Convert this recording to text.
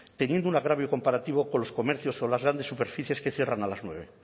teniendo un agravio comparativo con los comercios o las grandes superficies que cierran a las nueve